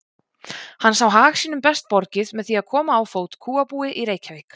Hann sá hag sínum best borgið með því að koma á fót kúabúi í Reykjavík.